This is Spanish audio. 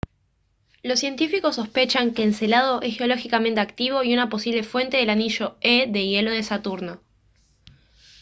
los científicos sospechan que encélado es geológicamente activo y una posible fuente del anillo e de hielo de saturno